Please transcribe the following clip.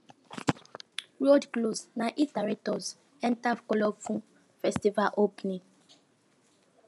road close na it direct us enter colorful festival opening